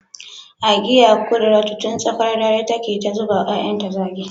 Agiya kudiratu tun tsakar dare take ta zuba wa ‘ya’yanta zagi